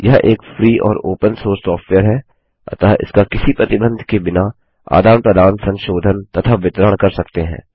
यह एक फ्री और ओपन सोर्स सॉफ्टवेयर है अतः इसका किसी प्रतिबंध के बिना आदान प्रदान संशोधन तथा वितरण कर सकते हैं